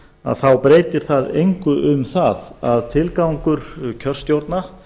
að þá breytir það engu um það að tilgangur kjörstjórna